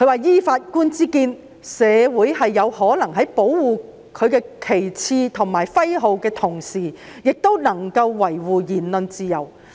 "依本席之見，社會是有可能在保護其旗幟及徽號的同時，也能夠維護言論自由"。